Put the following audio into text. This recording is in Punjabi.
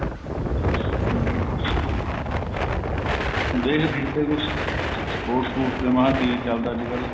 ਦੇਖਦੇ ਏ ਅੱਗੇ ਕੁੱਝ sports ਸਪੁਰਟਸ ਤੇ ਮਹਾਂ ਕੀ ਚੱਲਦਾ ਅੱਜਕਲ